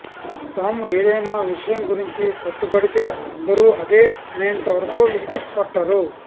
తాము ఏదైనా విషయం గురించి పట్టుబడితే అందరూ అదే అనేంత వరకు విడిచిపట్టరు